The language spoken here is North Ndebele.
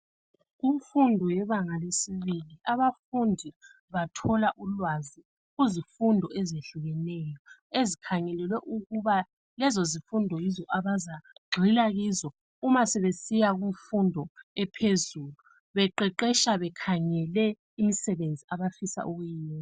Kumfundo yebanga lesibili abafundi bathola ulwazi kuzifundo ezehlukeneyo ezikhangelwe ukuba lezo zifundo yizo abazagxila kuzo uma sebesiya kumfundo ephezulu beqeqesha bekhangele imisebenzi abafisa ukuyiyenza.